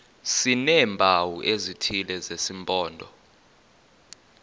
sineempawu ezithile zesimpondo